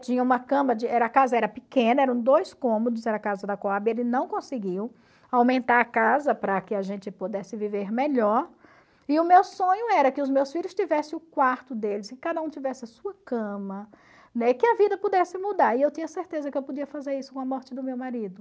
tinha uma cama, a casa era pequena, eram dois cômodos, era a casa da Cohab, ele não conseguiu aumentar a casa para que a gente pudesse viver melhor, e o meu sonho era que os meus filhos tivessem o quarto deles, que cada um tivesse a sua cama, que a vida pudesse mudar, e eu tinha certeza que eu podia fazer isso com a morte do meu marido.